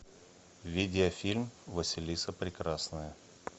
видеофильм василиса прекрасная